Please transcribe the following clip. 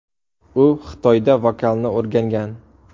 U Xitoyda vokalni o‘rgangan.